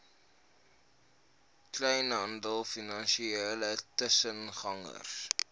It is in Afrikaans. kleinhandel finansiële tussengangers